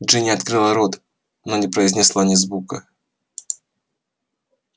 джинни открыла рот но не произнесла ни звука